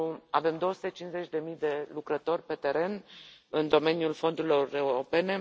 Avem 250 de mii de lucrători pe teren în domeniul fondurilor europene.